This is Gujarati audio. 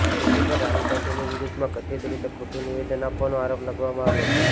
તેમની પર રાહુલ ગાંધીની વિરુદ્ધમાં કથિત રીતે ખોટું નિવેદન આપવાનો આરોપ લગાવવામાં આવ્યો છે